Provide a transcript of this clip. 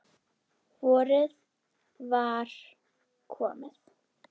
Vorið var komið.